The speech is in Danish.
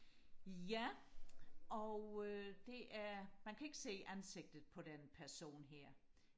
ja og øh det er man kan ikke se ansigtet på den person her